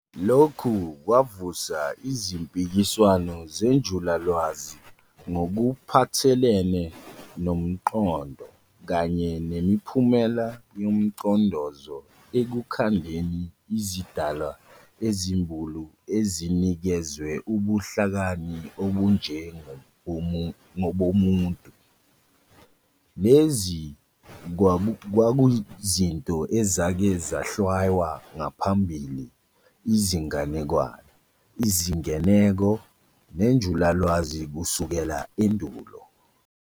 Lokhu kwavusa izimpikiswano zenjulalwazi ngokuphathelene nomqondo kanye nemiphumela yomcondozo ekukhandeni izidalwa ezimbulu ezinikezwe ubuhlakani obunje ngobomuntu, lezi kwakuzinto ezake zahlwaywa ngaphambili izinganekwane, izingeneko, nenjulalwazi kusukela endulo.